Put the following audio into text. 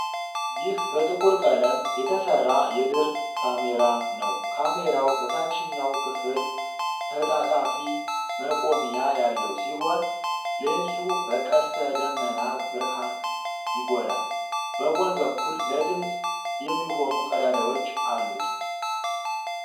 ይህ በጥቁር ቀለም የተሠራ የድር ካሜራ ነው። ካሜራው በታችኛው ክፍል ተጣጣፊ መቆሚያ ያለው ሲሆን፣ ሌንሱ በቀስተ ደመና ብርሃን ይጎላል። በጎን በኩል ለድምፅ የሚሆኑ ቀዳዳዎች አሉት።